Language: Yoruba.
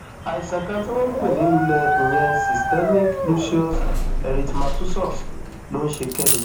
àìsàn kan tí wọn ń pè ní lulẹ ìyẹn cs] systemic lucius erythemátusus ló ń ṣe kẹmi